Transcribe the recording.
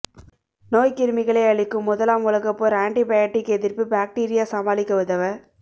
நோய்க் கிருமிகளை அழிக்கும் முதலாம் உலகப் போர் ஆண்டிபயாடிக் எதிர்ப்பு பாக்டீரியா சமாளிக்க உதவ